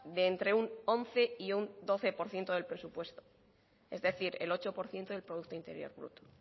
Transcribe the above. de entre once y un doce por ciento del presupuesto es decir el ocho por ciento del producto interior bruto